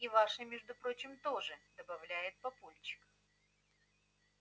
и вашей между прочим тоже добавляет папульчик